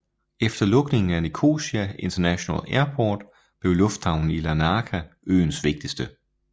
Efter lukningen af Nicosia International Airport blev lufthavnen i Larnaca øens vigtigste